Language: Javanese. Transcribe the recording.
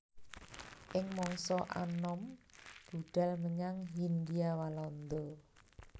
Ing mangsa anom budhal menyang Hindia Walanda